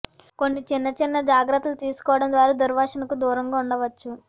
కొన్ని చిన్న చిన్న జాగ్రత్తలు తీసుకోవడం ద్వారా దుర్వాసనకు దూరంగా ఉండవచ్చు